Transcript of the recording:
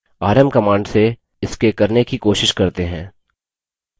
rm command से इसके करने की कोशिश करते हैं